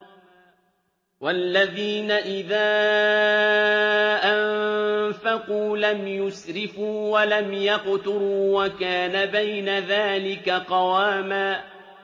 وَالَّذِينَ إِذَا أَنفَقُوا لَمْ يُسْرِفُوا وَلَمْ يَقْتُرُوا وَكَانَ بَيْنَ ذَٰلِكَ قَوَامًا